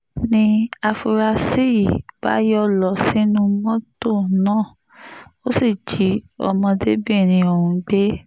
ni àfúrásì yìí bá yọ́ lọ sínú mọ́tò náà ó sì jí ọmọdébìnrin ọ̀hún gbé